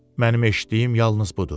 Mənim eşitdiyim yalnız budur.